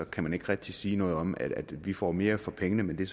kan man ikke rigtig sige noget om at vi får mere for pengene men det